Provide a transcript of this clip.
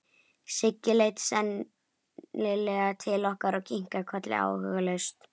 Siggi leit seinlega til okkar og kinkaði kolli áhugalaust.